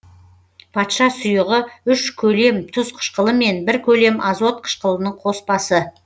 патша сұйығы үш көлем тұз қышқылымен бір көлем азот қышқылының коспасы